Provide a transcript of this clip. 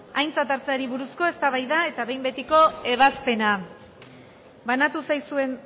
aintzat hartzeari buruzko eztabaida eta behin betiko ebazpena banatu zaizuen